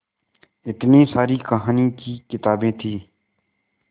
इतनी सारी कहानी की किताबें थीं